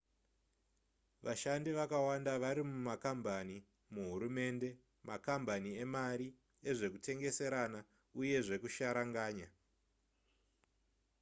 vashandi vakawanda vari mumakambani muhurumende makambani emari ezvekutengeserana uye zvekusharanganya